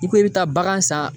I ko i bi taa bagan san